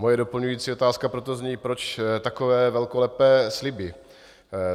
Moje doplňující otázka proto zní: Proč takové velkolepé sliby?